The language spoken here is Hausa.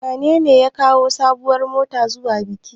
Wanene ya kawo sabuwar mota zuwa bikin?